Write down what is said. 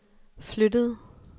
flyttede